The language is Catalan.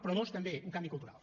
però dos també un canvi cultural